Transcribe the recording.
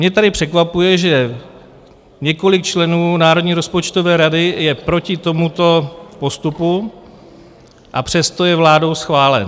Mě tady překvapuje, že několik členů Národní rozpočtové rady je proti tomuto postupu, a přesto je vládou schválen.